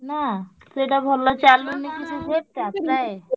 ନାଁ। ଏଇଟା ଭଲ ଚାଲୁନି